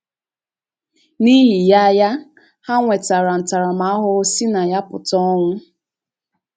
N’ihi ya ya, ha nwetara ntaramahụhụ si na ya pụta — ọnwụ.